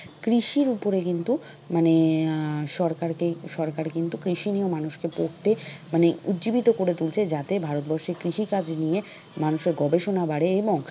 কৃষির উপরে কিন্তু মানে আহ সরকারকে সরকার কিন্তু কৃষি নিয়েও মানুষকে পড়তে মানে উজ্জীবিত করে তুলছে যাতে ভারতবর্ষে কৃষি কাজ নিয়ে মানুষের গবেষণা বাড়ে এবং